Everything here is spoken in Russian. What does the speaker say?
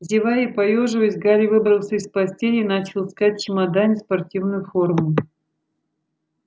зевая и поёживаясь гарри выбрался из постели и начал искать в чемодане спортивную форму